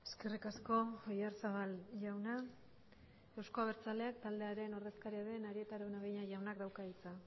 eskerrik asko oyarzabal jauna euzko abertzaleak taldearen ordezkaria den arieta araunabeña jaunak dauka hitza